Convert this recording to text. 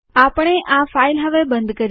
આપણે આ ફાઈલ હવે બંધ કરીએ